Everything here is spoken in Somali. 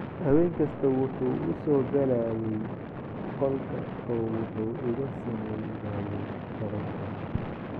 "Habeen kasta wuxuu u soo galayay qolka oo wuxuu iga sameynayay falal xun."